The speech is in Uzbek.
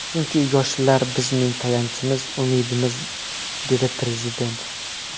Chunki yoshlar bizning tayanchimiz, umidimiz”, dedi Prezident.